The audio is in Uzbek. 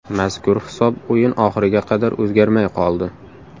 Mazkur hisob o‘yin oxiriga qadar o‘zgarmay qoldi.